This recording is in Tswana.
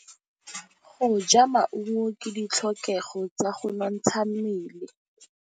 Go ja maungo ke ditlhokegô tsa go nontsha mmele.